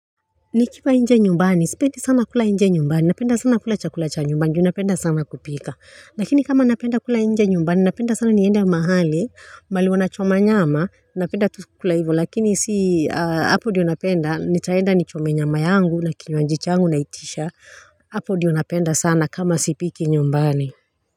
Nikiwa nje nyumbani, sipendi sana kula nje nyumbani, napenda sana kula chakula cha nyumbani, juu napenda sana kupika. Lakini kama napenda kula nje nyumbani, napenda sana niende mahali, mbali wanachoma nyama, napenda kula hivyo. Lakini si, hapo ndiyo napenda, nitaenda nichome nyama yangu, na kinywaji yangu, na itisha, hapo ndiyonapenda sana kama sipiki nyumbani.